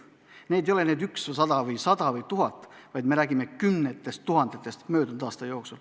Neid ei olnud üks, sada või tuhat, me räägime kümnetest tuhandetest ainuüksi möödunud aastal.